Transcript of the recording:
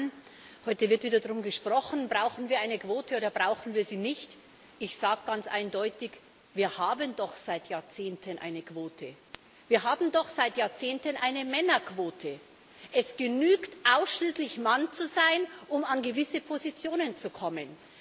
Herr Präsident, sehr geehrte Damen und Herren! Heute wird wieder darüber gesprochen Brauchen wir eine Quote, oder brauchen wir sie nicht? Ich sage ganz eindeutig Wir haben doch seit Jahrzehnten eine Quote, wir haben doch seit Jahrzehnten eine Männerquote! Es genügt ausschließlich, Mann zu sein, um an gewisse Positionen zu kommen.